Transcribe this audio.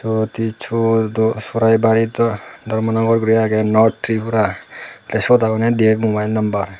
proti sordo churaibari ta dharmanagar guri agey north tripura te sot agonne dibe mobile numbar.